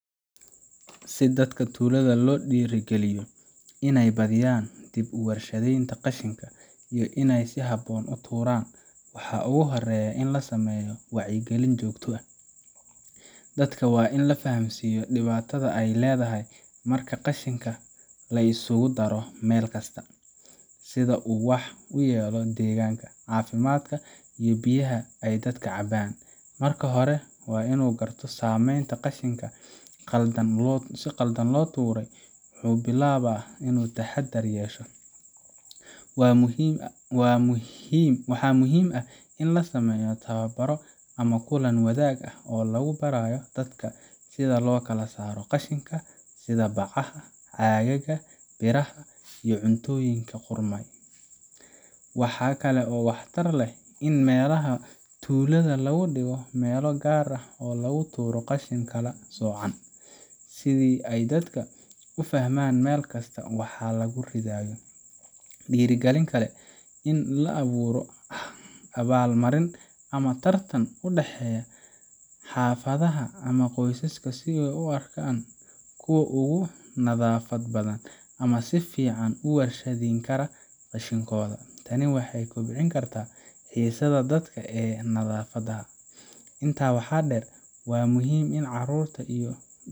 Si dadka tuulada loo dhiirrigeliyo inay badiyaan dib u warshadaynta qashinka, iyo inay si habboon u tuuraan, waxaa ugu horreeya in la sameeyo wacyigelin joogto ah. Dadka waa in la fahamsiiyaa dhibaatada ay leedahay marka qashinka la isugu daro meel kasta, sida uu wax u yeelo deegaanka, caafimaadka, iyo biyaha ay dadka cabbaan. Marka qofka uu garto saamaynta qashinka qaldan loo tuuray, wuu bilaabaa inuu taxaddar yeesho. Waxaa muhiim ah in la sameeyo tababaro ama kulan wadaag ah oo lagu barayo dadka sida loo kala saaro qashinka sida bacaha, caagagga, biraha, iyo cuntooyinka qudhmaya. Waxa kale oo waxtar leh in meelaha tuulada laga dhigo meelo gaar ah oo lagu tuuro qashin kala soocan, si ay dadka u fahmaan meel kasta waxa lagu ridayo. Dhiirrigelin kale waa in la abuuro abaal marin ama tartan u dhexeeya xaafadaha ama qoysaska si loo arko kuwa ugu nadaafad badan ama si fiican u warshadayn kara qashinkooda. Tani waxay kobcin kartaa xiisaha dadka ee nadaafadda. Intaa waxaa dheer, waa muhiim in carruurta iyo.